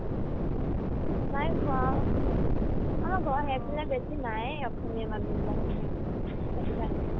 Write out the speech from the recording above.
নাই খোৱা আমাৰ ঘৰৰ ইয়াত বেছি নায়ে অসমীয়া মানুহবিলাক মানে সেইটো কাৰণে